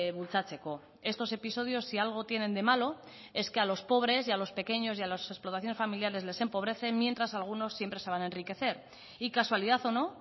bultzatzeko estos episodios si algo tienen de malo es que a los pobres y a los pequeños y a las explotaciones familiares les empobrece mientras algunos siempre se van a enriquecer y casualidad o no